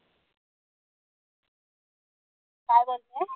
काय बोलतेस?